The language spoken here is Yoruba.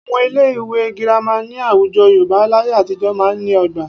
Àwọn ilé ìwé Girama ní àwùjọ Yorùbá láyé àtijọ́ máa ń ní ọgbà